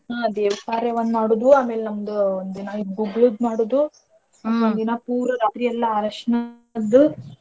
ಹ್ಮ್ ದೇವಕಾರ್ಯಾ ಒಂದ್ ಮಾಡೋದು ಆಮೇಲ್ ನಮ್ದು ಒಂದಿನಾ ಗುಗ್ಗುಳದ್ ಮಾಡೋದು. ಒಂದಿನ ಪೂರಾ ರಾತ್ರೆಲ್ಲ ಅರ್ಶನಾದ್